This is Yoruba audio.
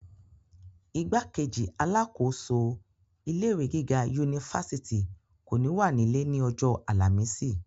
igbákejì alákòóso ilé ìwé gíga unifásitì kò ní wà nílé ní ọjọ́ àlàmísì